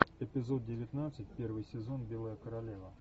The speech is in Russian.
эпизод девятнадцать первый сезон белая королева